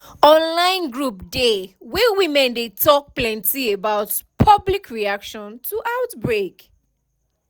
online group dey wey women dey talk plenty about public reaction to outbreak